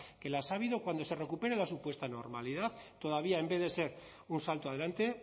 que las ha habido cuando se recupere la supuesta normalidad todavía en vez de ser un salto adelante